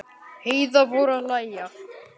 Heiða fór að hlæja.